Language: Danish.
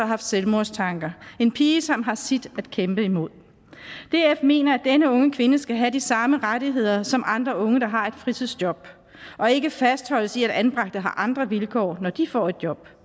haft selvmordstanker en pige som har sit at kæmpe imod df mener at denne unge kvinde skal have de samme rettigheder som andre unge der har et fritidsjob og ikke fastholdes i at anbragte har andre vilkår når de får et job